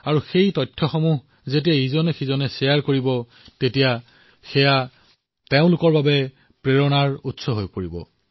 আৰু সেই তথ্য যেতিয়া আপোনালোকে নিজৰ বন্ধুসকলৰ সৈতে চৰ্চা কৰিব তেতিয়া তেওঁলোকৰ বাবে প্ৰেৰণাৰো কাৰণ হৈ পৰিব